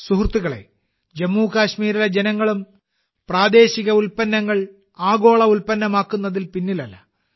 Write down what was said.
സുഹൃത്തുക്കളേ ജമ്മു കാശ്മീരിലെ ജനങ്ങളും പ്രാദേശിക ഉൽപന്നങ്ങൾ ആഗോള ഉൽപ്പന്നമാക്കുന്നതിൽ പിന്നിലല്ല